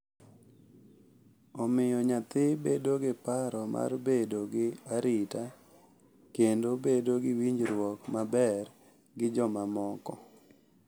Omiyo nyathi bedo gi paro mar bedo gi arita kendo bedo gi winjruok maber gi jomamoko.